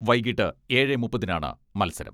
വൈകിട്ട് ഏഴെ മുപ്പതിനാണ് മത്സരം.